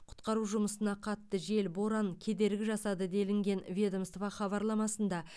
құтқару жұмысына қатты жел боран кедергі жасады делінген ведомство хабарламасында